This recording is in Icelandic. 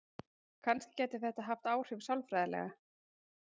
Kannski gæti þetta haft áhrif sálfræðilega.